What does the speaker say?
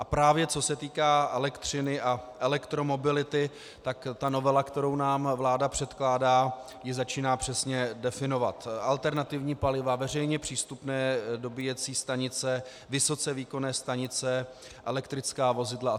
A právě co se týká elektřiny a elektromobility, tak ta novela, kterou nám vláda předkládá, ji začíná přesně definovat, alternativní paliva, veřejně přístupné dobíjecí stanice, vysoce výkonné stanice, elektrická vozidla atd.